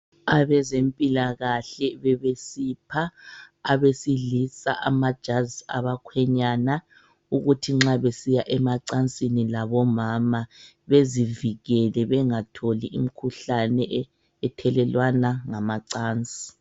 Abezempilakahle bebesipha abesilisa amajazi abakhwenyana ukuthi nxa besiya emacansini labomama bezivikele bengatholi imkhuhlane e ethelelwana ngamacansi.